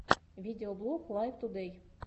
видеоблог лайв тудэй